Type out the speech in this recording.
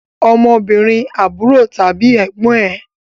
Ọmọbìnrin àbúrò tàbí ẹ̀gbọ́n ẹn